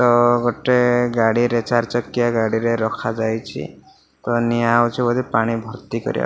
ତ ଗୋଟେ ଗାଡ଼ିରେ ଚାରି ଚକିଆ ଗାଡ଼ିରେ ରଖାଯାଇଛି। ତ ନିଆ ହୋଉଚି ବୋଧେ ପାଣି ଭର୍ତ୍ତି କରିବାପା --